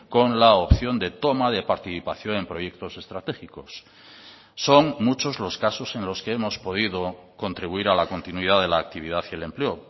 con la opción de toma de participación en proyectos estratégicos son muchos los casos en los que hemos podido contribuir a la continuidad de la actividad y el empleo